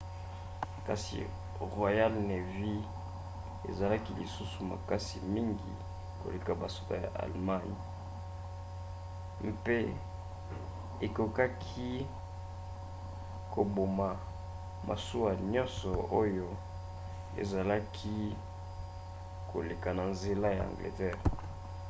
kasi royal navy ezalaki lisusu makasi mingi koleka basoda ya allemagne kriegsmarine mpe ekokaki koboma masuwa nyonso oyo ezalaki koleka na nzela ya angleterre